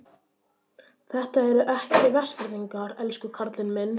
Þetta eru ekki Vestfirðingar, elsku karlinn minn.